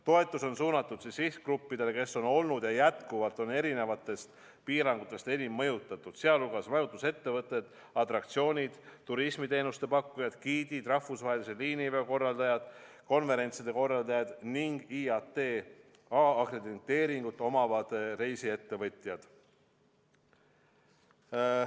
Toetus on suunatud sihtgruppidele, kes on olnud ja jätkuvalt on piirangutest enim mõjutatud, sh majutusettevõtted, atraktsioonide ja turismiteenuste pakkujad, giidid, rahvusvahelise liiniveo korraldajad, konverentside korraldajad ning IATA akrediteeringut omavad reisiettevõtjad.